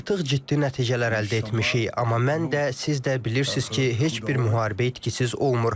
Artıq ciddi nəticələr əldə etmişik, amma mən də, siz də bilirsiz ki, heç bir müharibə itkisiz olmur.